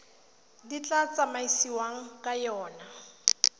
le tla tsamaisiwang ka yona